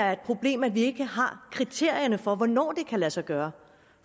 er et problem at vi ikke har kriterierne for hvornår det kan lade sig gøre